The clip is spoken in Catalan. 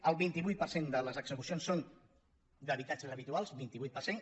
el vint vuit per cent de les execucions són d’habitatges habituals vint vuit per cent